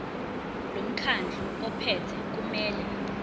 lomkhandlu ophethe kumele